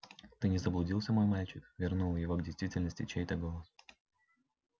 ты не заблудился мой мальчик вернул его к действительности чей-то голос